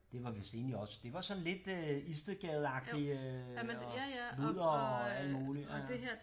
Det var vidst egentlig også det var sådan lidt øh Istedgadeagtig øh og ludere og alt muligt ja ja